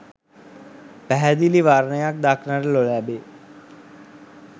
පැහැදිලි වර්ණයක් දක්නට නොලැබේ